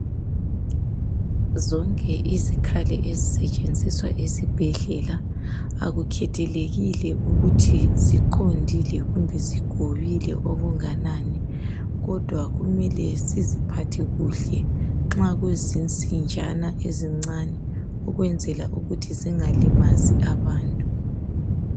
Zonke izikhali ezisetshenziswa esibhedlela akukhethelekile ukuthi ziqondile kumbe zigobile okunganani kodwa kumele siziphathe kuhle nxa kuzinsinjana ezincane ukwenzela ukuthi zingalimazi abantu.